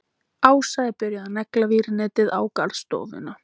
Ása er byrjuð að negla vírnetið á garðstofuna.